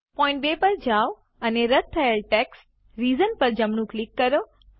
point 2 પર જાઓ અને રદ્દ થયેલ ટેક્સ્ટ રીઝન્સ પર જમણું ક્લિક કરો